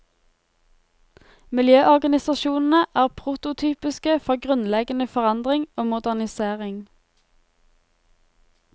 Miljøorganisasjonene er prototypiske for grunnleggende forandring og modernisering.